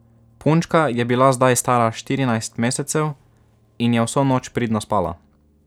Punčka je bila zdaj stara štirinajst mesecev in je vso noč pridno spala.